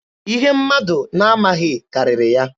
Ihe mmadụ na-amaghị karịrị ya.